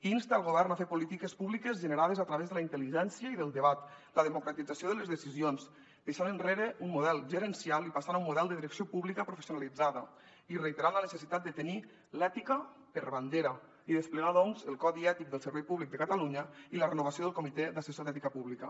insta el govern a fer polítiques públiques generades a través de la intel·ligència i del debat la democratització de les decisions deixant enrere un model gerencial i passant a un model de direcció pública professionalitzada i reiterant la necessitat de tenir l’ètica per bandera i desplegar doncs el codi ètic del servei públic de catalunya i la renovació del comitè assessor d’ètica pública